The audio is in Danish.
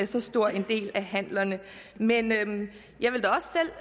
så stor en andel af handlerne men jeg vil